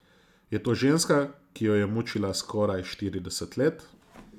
Je to ženska, ki jo je mučila skoraj štirideset let?